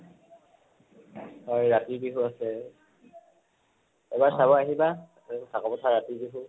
হয়, ৰাতি বিহু আছে। এবাৰ চাব আহিবা কাকʼ পথাৰৰ ৰাতি বিহু